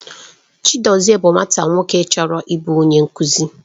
Chidozie bụ nwata nwoke chọrọ ịbụ onye nkuzi.